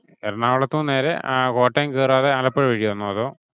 എറണാകുളത്തുന്നു നേരെ കോട്ടയം കേറാതെ ആലപ്പുഴ വഴി വന്നോ അതോ?